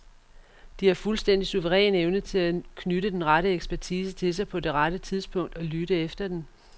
De har en fuldstændig suveræn evne til at knytte den rette ekspertise til sig på det rette tidspunkt, og lytte efter den.